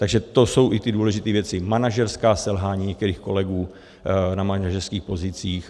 Takže to jsou i ty důležité věci: manažerská selhání některých kolegů na manažerských pozicích.